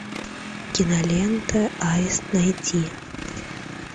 кинолента аист найти